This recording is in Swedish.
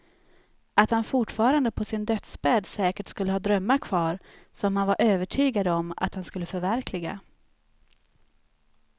Att han fortfarande på sin dödsbädd säkert skulle ha drömmar kvar som han var övertygad om att han skulle förverkliga.